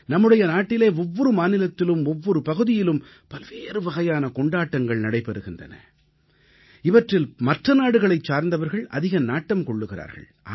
நம்முடைய நாட்டிலே ஒவ்வொரு மாநிலத்திலும் ஒவ்வொரு பகுதியிலும் பல்வேறு வகையான கொண்டாட்டங்கள் நடைபெறுகின்றன இவற்றில் மற்ற நாடுகளைச் சார்ந்தவர்கள் அதிக நாட்டம் கொள்கிறார்கள்